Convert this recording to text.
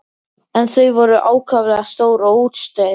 En þau voru ákaflega stór og útstæð.